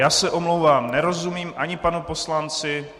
Já se omlouvám, nerozumím ani panu poslanci.